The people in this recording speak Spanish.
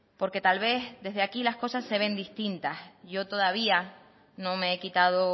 porque tal vez desde aquí las cosas se ven distintas yo todavía no me he quitado